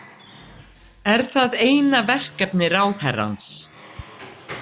Er það eina verkefni ráðherrans?